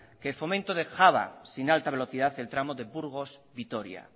que fomento dejaba sin alta velocidad el tramo de burgos vitoria